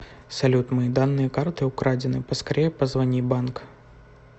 салют мои данные карты украдены поскорее позвони банк